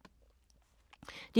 DR K